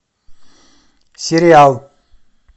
сериал